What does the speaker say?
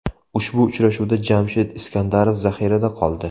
Ushbu uchrashuvda Jamshid Iskandarov zaxirada qoldi.